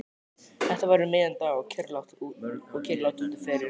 Þetta var um miðjan dag og kyrrlátt úti fyrir.